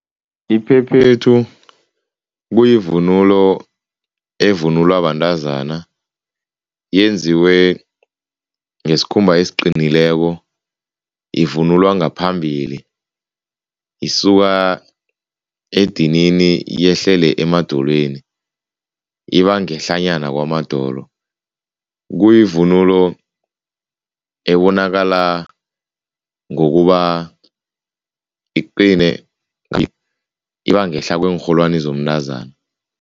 Iphephethu kuyivunulo evunulwa bantazana, yenziwe ngesikhumba esiqinileko. Ivunulwa ngaphambili, isuka edinini yehlele emadolweni, ibangehlanyana kwamadolo. Kuyivunulo ebonakala ngokuba iqine ibangehla kweenrholwani zomntazana.